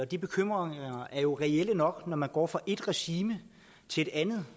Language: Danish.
de bekymringer er jo reelle nok når man går fra et regime til et andet